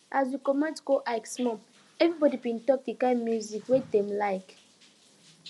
as we commot go hike small everybody bin talk the kind music wey dem like